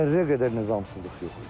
Zərrə qədər nizamsızlıq yox idi.